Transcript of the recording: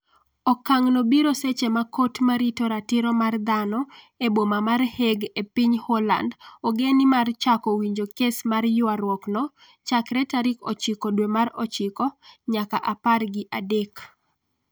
okang' no biro seche ma kot marito ratiro mar dhano e boma mar Hague e piny Holand ogeni mar chako winjo kes mar ywaruok no chakre tarik ochiko dwe mar ochiko nyaka apar gi adek